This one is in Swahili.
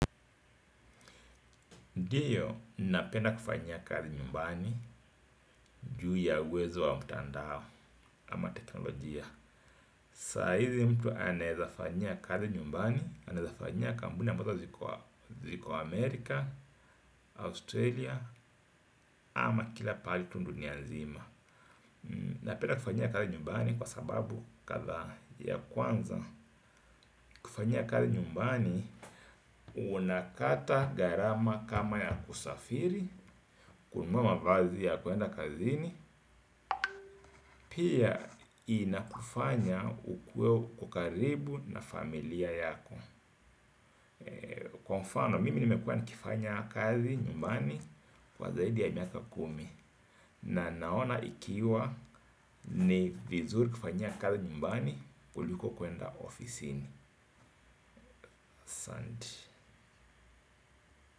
Ndio, ninapenda kufanya kazi nyumbani juu ya uwezo wa mtandao ama teknolojia. Saa hizi mtu anaweza fanyia kazi nyumbani, anaweza fanyia kampuni ambazo ziko Amerika, Australia ama kila pahali tu dunia nzima. Napenda kufanyia kazi nyumbani kwa sababu kadhaa. Ya kwanza, kufanyia kazi nyumbani unakata gharama kama ya kusafiri, kununua mavazi ya kuenda kazini, pia inakufanya ukuwe uko karibu na familia yako. Kwa mfano, mimi nimekuwa nikifanya kazi nyumbani kwa zaidi ya miaka kumi. Na naona ikiwa ni vizuri kufanyia kazi nyumbani kuliko kuenda ofisini, asanti.